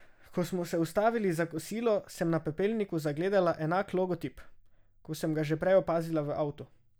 Ko smo se ustavili za kosilo, sem na pepelniku zagledala enak logotip, kot sem ga že prej opazila v avtu.